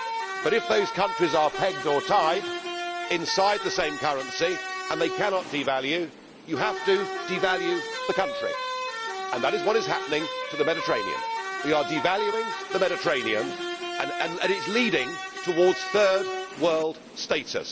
But if those countries are pegged or tied inside the same currency and they cannot devalue, you have to devalue the country and that is what is happening to the Mediterranean. We are devaluing the Mediterranean, and it is leaning towards Third World status.